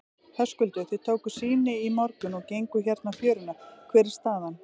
Höskuldur: Þið tókuð sýni í morgun og genguð hérna fjöruna, hver er staðan?